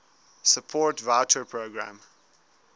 support voucher programme